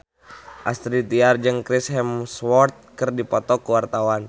Astrid Tiar jeung Chris Hemsworth keur dipoto ku wartawan